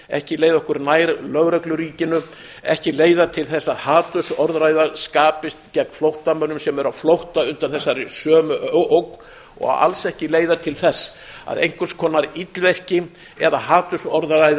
ekki leiða okkur nær lögregluríkinu ekki leiða til þess að hatursorðræða skapist gegn flóttamönnum sem eru á flótta undan þessari sömu ógn og alls ekki leiða til þess að einhvers konar illvirki eða hatursorðræða